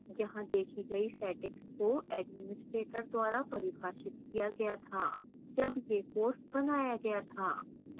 यहां देखी गई settings को administrator द्वारा परिभाषित किया गया था जब यह course बनाया गया था